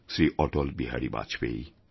Shri Atal Bihari Vajpayee